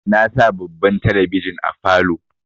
Na sa babban talabijin a falow